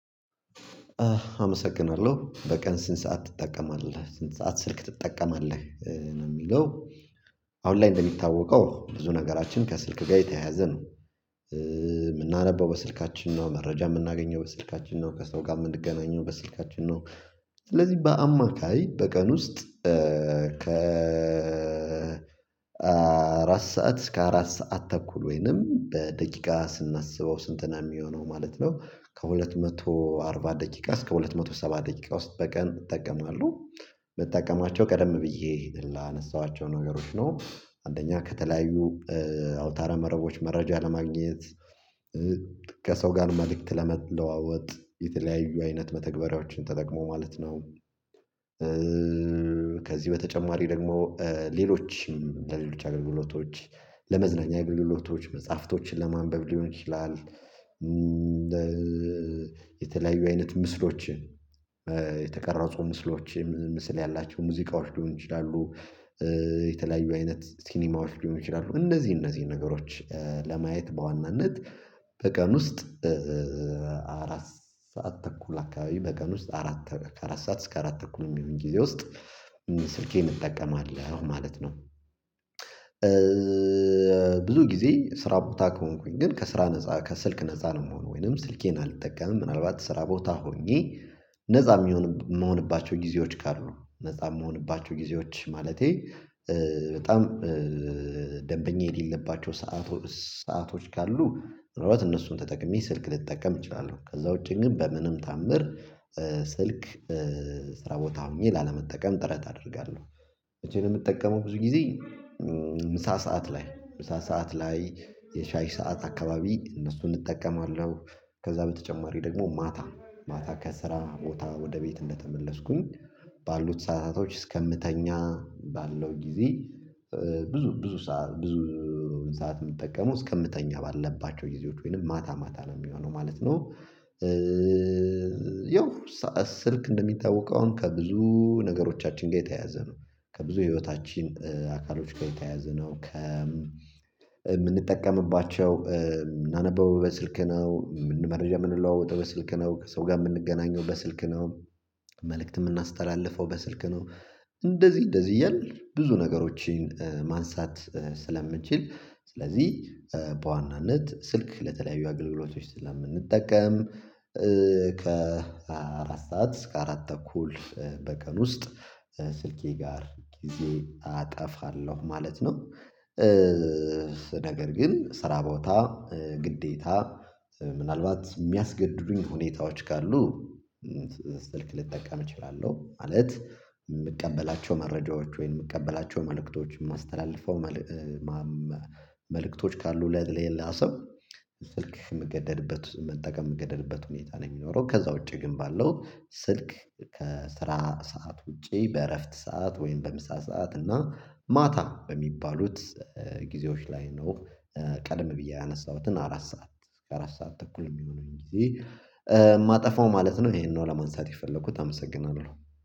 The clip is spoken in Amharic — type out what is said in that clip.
አመሰግናለሁ በቀን ስንት ሰዓት ትጠቀማለህ ስንት ሰዓት ስልክ ትጠቀማለህ ነው የሚለው አሁን ላይ እንደሚታወቀው ብዙ ነገራችን ከስልክ ጋር የተያያዘ ነው የምናነበው በስልካችን ነው መረጃ የምናገኘው በስልካችን ነው ከሰው ጋር የምንገናኘው በስልካችን ነው ስለዚህ በአማካይ በቀን ውስጥ ከ አራት ሰዓት እስከ አራት ሰዓት ተኩል ወይንም በደቂቃ ስናስበው ስንት ነው የሚሆነው ማለት ነው ከሁለት መቶ አርባ ደቂቃ እስከ ሁለት መቶ ሰባ ደቂቃ ውስጥ በቀን እጠቀማለሁ፤ የምጠቀማቸው ቀደም ብዬ ላነሳኋቸው ነገሮች ነው አንደኛ ከተለያዩ አውታረ መረቦች መረጃ ለማግኘት ከሰው ጋር መልእክት ለመለዋወጥ የተለያዩ አይነት መተግበሪያዎችን ተጠቅሞ ማለት ነው ከዚህ በተጨማሪ ደግሞ ሌሎችም ለሌሎች አገልግሎቶች ለመዝናኛ አገልግሎቶች መጽሐፍቶችን ለማንበብ ሊሆን ይችላል የተለያዩ አይነት ምስሎችን የተቀረጹ ምስሎችን ምስል ያላቸው ሙዚቃዎች ሊሆን ይችላሉ የተለያዩ አይነት ሲኒማዎች ሊሆኑ ይችላሉ እነዚህ እነዚህ ነገሮች ለማየት በዋናነት በቀን ውስጥ አራት ሰዓት ተኩል አካባቢ በቀን ውስጥ አራት ከአራት ሰዓት እስከ አራት ተኩል የሚሆን ጊዜ ውስጥ ስልኬን እጠቀማለሁ ማለት ነው፤ ብዙ ጊዜ ስራ ቦታ ከሆንኩኝ ግን ከስራ ነፃ፣ ከስልክ ነፃ ነው የምሆነው ወይንም ስልኬን አልጠቀምም ምናልባት ስራ ቦታ ሆኜ ነፃ የምሆንባቸው ጊዜዎች ካሉ ነፃ የምሆንባቸው ጊዜዎች ማለቴ በጣም ደንበኛ የሌለባቸው ሰዓቶ ሰአቶች ካሉ ምክንያቱም እነሱን ተጠቅሜ ስልክ ልጠቀም እችላለሁ ከዛ ውጪ ግን በምንም ታምር ስልክ ስራ ቦታ ሆኜ ላለመጠቀም ጥረት አደርጋለሁ መቸ ነው የምጠቀመው ብዙ ጊዜ ምሳ ሰዓት ላይ ምሳ ሰዓት ላይ የሻይ ሰዓት አካባቢ እነሱን እጠቀማለሁ ከዛ በተጨማሪ ደግሞ ማታ ማታ ከስራ ቦታ ወደ ቤት እንደተመለስኩኝ ባሉት ሰዓታቶች እስከምተኛ ባለው ጊዜ ብዙ ብዙ ብዙ ሰዓት የምትጠቀመው እስከምተኛ ባልለባቸው ጊዜዎች ወይንም ማታ ማታ ነው የሚሆነው ማለት ነው ያው ስልክ እንደሚታወቀው አሁን ከብዙ ነገሮቻችን ጋር የተያያዘ ነው ከብዙ ህይወታችን አካሎች ጋር የተያያዘ ነው ከ የምንጠቀምባቸው የምናነበው በስልክ ነው መረጃ የምንለዋወጠው በስልክ ነው ከሰው ጋር የምንገናኘው በስልክ ነው መልእክት የምናስተላልፈው በስልክ ነው እንደዚህ እንደዚህ እያልን ብዙ ነገሮችን ማንሳት ስለምንችል ስለዚህ በዋናነት ስልክ ለተለያዩ አገልግሎቶች ስለምንጠቀም ከአራት ሰዓት እስከ አራት ተኩል በቀን ውስጥ ስልኬ ጋር ጊዜ አጠፋለሁ ማለት ነው፤ ነገር ግን ስራ ቦታ ግዴታ ምናልባት የሚያስገድዱኝ ሁኔታዎች ካሉ ስልክ ልጠቀም እችላለሁ ማለት የምቀበላቸው መረጃዎች ወይም የምቀበላቸው መልእክቶች የማስተላልፈው መልእክቶች ካሉ ለሌላ ሰው ስልክ የምገደድበት መጠቀም ምገደድበት ሁኔታ ነው የሚኖረው። ከዛ ውጪ ግን ባለው ስልክ ከስራ ሰዓት ውጪ በእረፍት ሰዓት ወይም በምሳ ሰዓት እና ማታ በሚባሉት ጊዜዎች ላይ ነው ቀደም ብዬ ያነሳሁትን አራት ሰዓት እስከ አራት ሰዓት ተኩል የሚሆነኝ ጊዜ ማጠፋው ማለት ነው ይሄንን ነው ለማንሳት የፈለኩት አመሰግናለሁ።